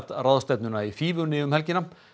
ráðstefnuna í fífunni um helgina